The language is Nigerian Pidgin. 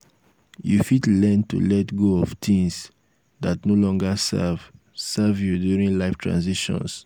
you fit learn to let um go of um things dat no longer serve serve you during life transitions.